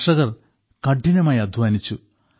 കർഷകർ കഠിനമായി അദ്ധ്വാനിച്ചു